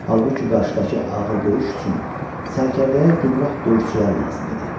Halbuki qarşıdakı ağır döyüş üçün sərkərdəyə gümrah döyüşçülər lazım idi.